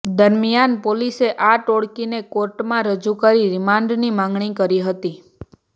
દરમિયાન પોલીસે આ ટોળકીને કોર્ટમાં રજૂ કરી રિમાન્ડની માંગણી કરી હતી